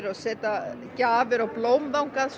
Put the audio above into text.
og setja gjafir og blóm þangað